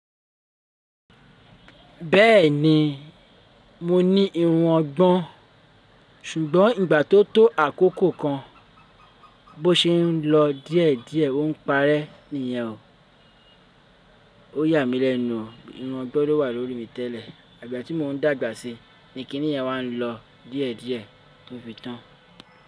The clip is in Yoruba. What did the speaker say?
Bẹ́ẹ̀ni, mo ní irun ọgbọn, ṣùgbọ́n ìgbà tó tó àkókò kan bó ṣe ń lọ díẹ̀díẹ̀ ó ń parẹ́ nìyẹn o. Ó yà mí lẹ́nu, irun ọgbọ́n ló wà lórí mi tẹ́lẹ̀, igbà tí mò ń dàgbà sí ni kíníyẹn wá ń lọ díẹ̀díẹ̀ tó fi tán.